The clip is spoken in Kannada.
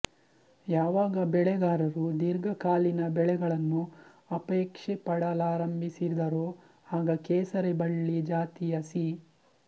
ಯಾವಾಗ ಬೆಳೆಗಾರರು ದೀರ್ಘಕಾಲೀನ ಬೆಳೆಗಳನ್ನು ಅಪೇಕ್ಷೆಪಡಲಾರಂಭಿಸಿದರೋ ಆಗ ಕೇಸರಿ ಬಳ್ಳಿ ಜಾತಿಯ ಸಿ